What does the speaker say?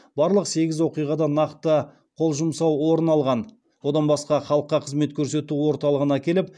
барлық сегіз оқиғада нақты қол жұмсау орын алған одан басқа халыққа қызмет көсету орталығына келіп